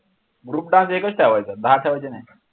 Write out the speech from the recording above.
group dance एकच ठेवायचा दहा ठेवायचे नाही.